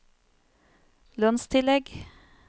lønnstillegg